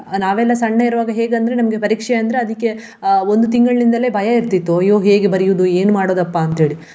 ನಾವೆಲ್ಲಾ ಸಣ್ಣ ಇರುವಾಗ ಹೇಗಂದ್ರೆ ನಮ್ಗೆ ಪರೀಕ್ಷೆ ಅಂದ್ರೆ ಅದಿಕ್ಕೆ ಅಹ್ ಒಂದು ತಿಂಗಳಿನಿಂದಲೇ ಭಯ ಇರ್ತಿತ್ತು. ಅಯ್ಯೋ ಹೇಗೆ ಬರಿಯುದು ಏನು ಮಾಡೋದಪ್ಪಾಂತ ಹೇಳಿ.